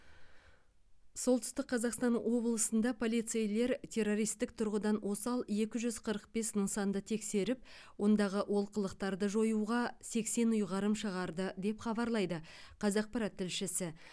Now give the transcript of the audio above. солтүстік қазақстан облысында полицейлер террористік тұрғыдан осал екі жүз қырық бес нысанды тексеріп ондағы олқылықтарды жоюға сексен ұйғарым шығарды деп хабарлайды қазақпарат тілшісі